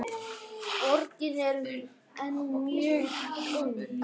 Borgin er enn mjög ung.